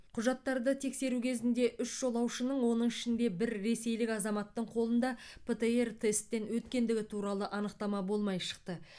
құжаттарды тексеру кезінде үш жолаушының оның ішінде бір ресейлік азаматтың қолында птр тесттен өткендігі туралы анықтама болмай шықты